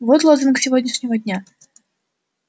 вот лозунг сегодняшнего дня